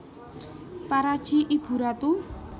Paraji ibu ratu